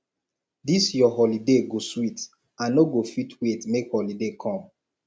dis your birthday go sweet i no go fit wait make holiday come